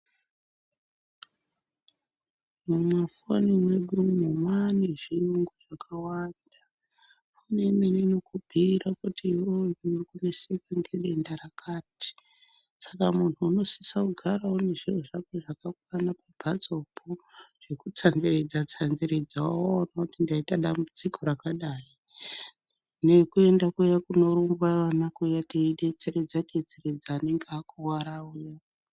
Mumafoni mwedu umu mwaane zvirungu zvakawanda. Kune imweni inokubhuira kuti iwewe unoneseka nedenda rakati. Saka munhu unosise kugara une zviro zvako zvakakwana pamhatsopo zvekutsanziridza tsanziridzawo unoiti ndaita dambudziko rakadayi nekuende kuyani kunorumba ana kuyani teidetseredza detseredzawo anenge akuwara uya.